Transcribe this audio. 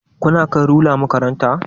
Kuna kai lura makaranta?